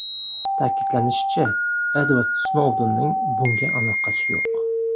Ta’kidlanishicha, Edvard Snoudenning bunga aloqasi yo‘q.